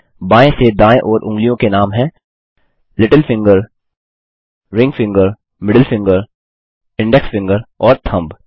बाएँ से दायें ओर उँगलियों के नाम हैं little finger ring finger middle finger index finger और थंब